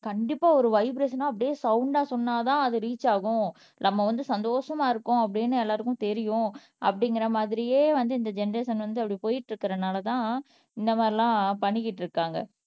கண்டிப்பா ஒரு வைப்ரஷனா அப்படியே சவுண்டா சொன்னாதான் அது ரீச் ஆகும் நம்ம வந்து சந்தோஷமா இருக்கோம் அப்படின்னு எல்லாருக்கும் தெரியும் அப்படிங்கிற மாதிரியே வந்து இந்த ஜெனெரேஷன் வந்து அப்படி போயிட்டு இருக்கிறனால தான் இந்த மாதிரி எல்லாம் பண்ணிக்கிட்டு இருக்காங்க